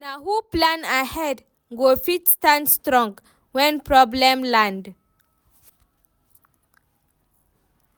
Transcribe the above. Na who plan ahead go fit stand strong when problem land.